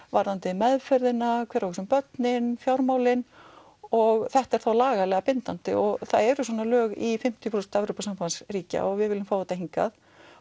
varðandi meðferðina hver á að hugsa um börnin fjármálin og þetta er þá lagalega bindandi og það eru svona lög í fimmtíu prósent Evrópusambandsríkja og við viljum fá þetta hingað